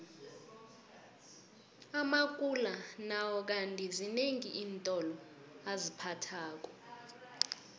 amakula nawo kandi zinengi iintolo aziphathako